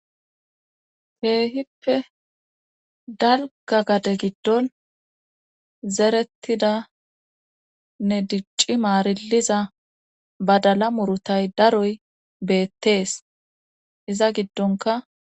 heehippe dalga gade giddon zerettidanne dicci maariliza badala murutay daroy beettees iza giddonka